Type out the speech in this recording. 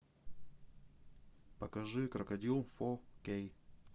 покажи крокодил фо кей